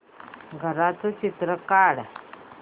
घराचं चित्र काढ